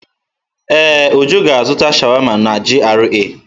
Ee, Uju ga-azụta sháwámá n'GRA.